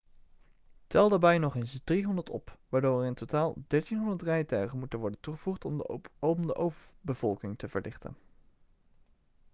tel daarbij nog eens 300 op waardoor er in totaal 1.300 rijtuigen moeten worden toegevoegd om de overbevolking te verlichten